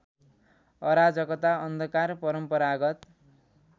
अराजकता अन्धकार परम्परागत